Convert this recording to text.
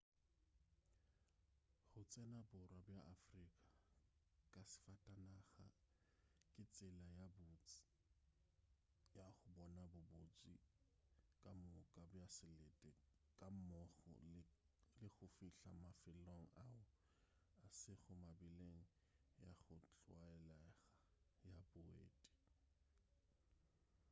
go tsena borwa bja afrika ka safatanaga ke tsela ye botse ya go bona bobotse kamoka bja selete gammogo le go fihla mafelong ao a sego mebileng ya go tlwaelega ya boeti